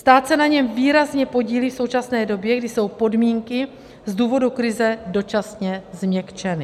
Stát se na něm výrazně podílí v současné době, kdy jsou podmínky z důvodu krize dočasně změkčeny.